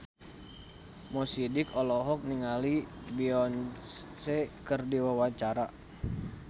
Mo Sidik olohok ningali Beyonce keur diwawancara